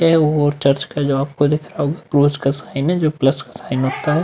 ये और चर्च का जो आपको दिख रहा होगा। वो उसका साइन है जो प्लस का साइन होता है।